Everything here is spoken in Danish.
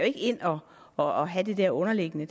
ikke ind og og have det der underliggende